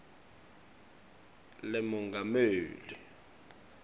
lemongameli